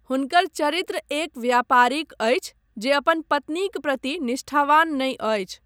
हुनकर चरित्र एक व्यापारीक अछि जे अपन पत्नीक प्रति निष्ठावान नहि अछि।